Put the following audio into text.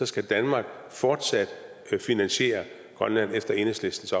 skal danmark fortsat finansiere grønland efter enhedslistens